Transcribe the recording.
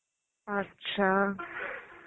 আচ্ছা.